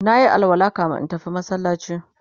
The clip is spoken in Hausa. nayi alwala kamin in tafi masallaci